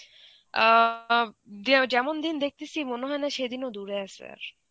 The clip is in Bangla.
অ্যাঁ দিয়া যেমন দিন দেখতেছি মনে হয় না সেদিনও দূরে আছে আর.